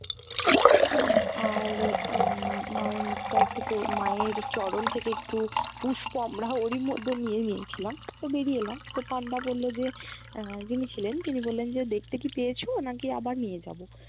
আর আহ মায়ের মুখটা একটু ক মায়ের চরণ থেকে একটু পুষ্প আমরা ওরই মধ্যে নিয়ে নিয়েছিলাম। তো বেরিয়ে এলাম তো পান্ডা বলল যে আহ যিনি ছিলেন তিনি বললেন যে, দেখতে কি পেয়েছো? না-কি আবার নিয়ে যাবো?